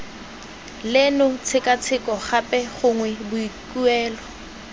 leno tshekatsheko gape gongwe boikuelo